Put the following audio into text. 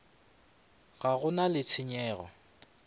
ge go na le tshenyego